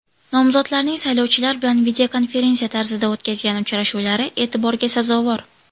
Nomzodlarning saylovchilar bilan videokonferensiya tarzida o‘tkazgan uchrashuvlari e’tiborga sazovor”.